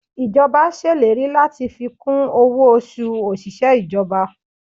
Ìjọba ṣèlérí láti fi kún owó oṣù òṣìṣẹ́ ìjọba